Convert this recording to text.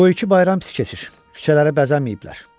Bu ilki bayram pis keçir, küçələri bəzəməyiblər.